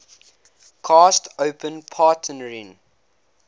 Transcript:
coast open partnering